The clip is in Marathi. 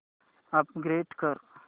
अपग्रेड कर